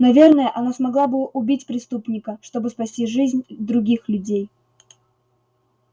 наверное она смогла бы убить преступника чтобы спасти жизнь других людей